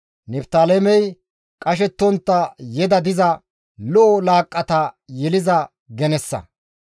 «Niftaalemey qashettontta yeda diza, lo7o laaqqata yeliza genessa.